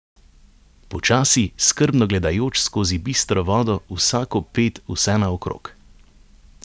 Počasi, skrbno gledajoč skozi bistro vodo vsako ped vsenaokrog.